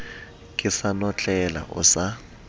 ke sa notlela o sa